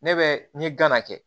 Ne bɛ n ye gana kɛ